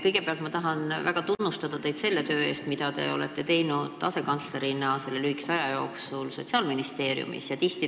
Kõigepealt ma tahan väga tunnustada teid selle töö eest, mida te olete teinud selle lühikese aja jooksul Sotsiaalministeeriumi tööala asekantslerina.